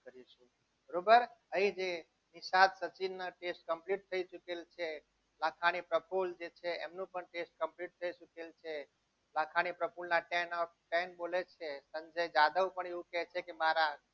બરોબર અહીં જે નિશા સચ complete થઈ ગયેલા છે લાખાણી પ્રફુલના train યાદવ પણ એવું કહે છે કે મારા